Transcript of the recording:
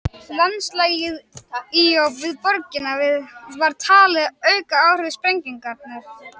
Landslagið í og við borgina var talið auka áhrif sprengingarinnar.